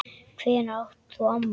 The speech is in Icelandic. Hvenær átt þú afmæli?